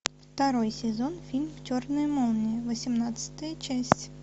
второй сезон фильм черная молния восемнадцатая часть